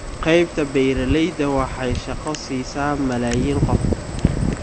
Qaybta beeralayda waxay shaqo siisaa malaayiin qof.